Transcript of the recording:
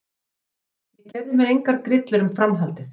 Ég gerði mér engar grillur um framhaldið.